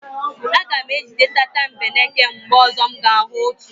Aga m ejide tatambeneke mgbe ọzọ m ga-ahụ otu.